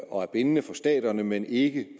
og bindende for staterne men ikke